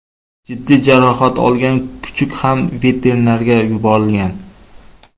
Jiddiy jarohat olgan kuchuk ham veterinarga yuborilgan.